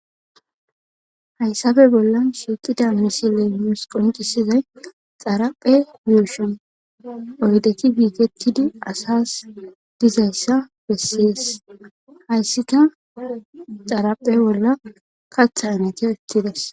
hayssafe bolla shiiqida misile nus qoncisizay xaraphe yushon oydeti gigetidi asas dizayssa bessees hayssika xaraphe bolla katha anate ettidas